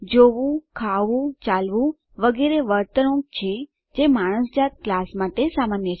જોવું ખાવું ચાલવું વગેરે વર્તણૂક છે જે માણસ જાત ક્લાસ માટે સામાન્ય છે